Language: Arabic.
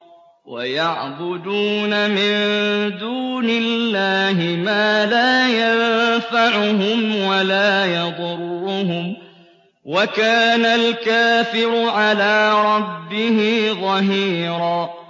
وَيَعْبُدُونَ مِن دُونِ اللَّهِ مَا لَا يَنفَعُهُمْ وَلَا يَضُرُّهُمْ ۗ وَكَانَ الْكَافِرُ عَلَىٰ رَبِّهِ ظَهِيرًا